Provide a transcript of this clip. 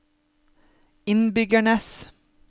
innbyggernes